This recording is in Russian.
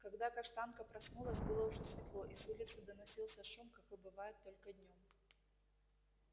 когда каштанка проснулась было уже светло и с улицы доносился шум какой бывает только днём